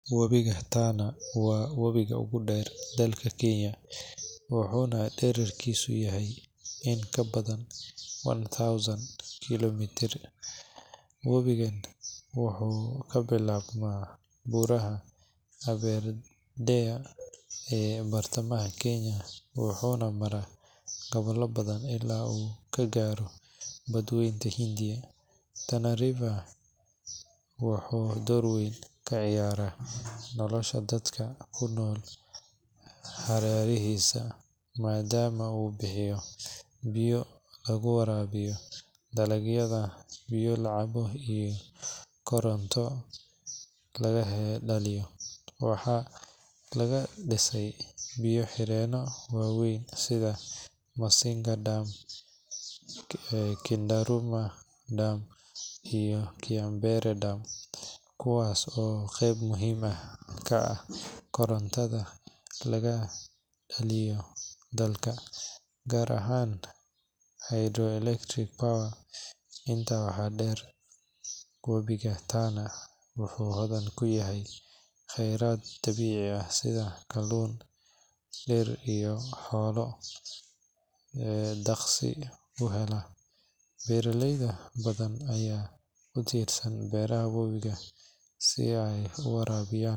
Webiga Tana waa webiga ugu dheer dalka Kenya, wuxuuna dhererkiisu yahay in ka badan one thousand kiiloomitir. Webigan wuxuu ka bilaabmaa buuraha Aberdare ee bartamaha Kenya wuxuuna maraa gobollo badan ilaa uu ka gaaro Badweynta Hindiya. Tana River wuxuu door weyn ka ciyaaraa nolosha dadka ku nool hareerihiisa, maadaama uu bixiyo biyo lagu waraabiyo dalagyada, biyo la cabo, iyo koronto laga dhaliyo. Waxaa lagu dhisay biyo xireeno waaweyn sida Masinga Dam, Kindaruma Dam, iyo Kiambere Dam kuwaas oo qayb muhiim ah ka ah korontada laga dhaliyo dalka, gaar ahaan hydroelectric power. Intaa waxaa dheer, webiga Tana wuxuu hodan ku yahay kheyraad dabiici ah sida kalluun, dhir, iyo xoolo daaqsin u hela. Beeraley badan ayaa ku tiirsan biyaha webigan si ay u waraabiyaan.